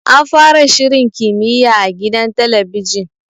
An fara shirin kimiyya a gidan talabijin.